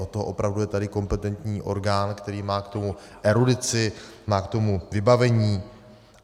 Od toho opravdu je tady kompetentní orgán, který má k tomu erudici, má k tomu vybavení.